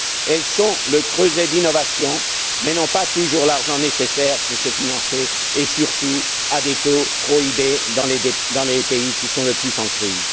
Elles sont le creuset d'innovation mais n'ont pas toujours l'argent nécessaire pour se financer, et surtout sont confrontées à des taux prohibés dans les pays qui sont le plus en crise.